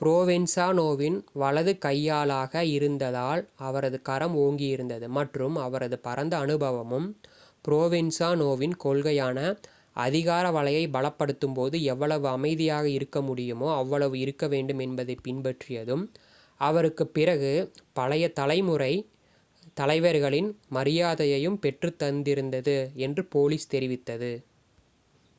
ப்ரோவென்சாநோவின் வலது கையாளாக இருந்ததால் அவரது கரம் ஓங்கி இருந்தது மற்றும் அவரது பரந்த அனுபவமும் ப்ரோவென்சாநோவின் கொள்கையான அதிகார வலையை பலப்படுத்தும் போது எவ்வளவு அமைதியாக இருக்க முடியுமோ அவ்வளவு இருக்க வேண்டும் என்பதைப் பின்பற்றியதும் அவருக்குப் பழைய தலைமுறை தலைவர்களின் மரியாதையையும் பெற்றுத் தந்திருந்தது என்று போலீஸ் தெரிவித்தது